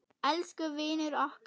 Elsku vinur okkar.